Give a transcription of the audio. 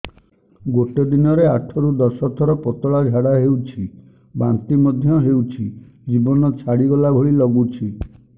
ଗୋଟେ ଦିନରେ ଆଠ ରୁ ଦଶ ଥର ପତଳା ଝାଡା ହେଉଛି ବାନ୍ତି ମଧ୍ୟ ହେଉଛି ଜୀବନ ଛାଡିଗଲା ଭଳି ଲଗୁଛି